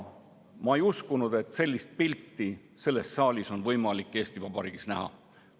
Ma ei uskunud, et sellist selles saalis avanevat pilti on võimalik Eesti Vabariigis näha.